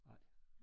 Nej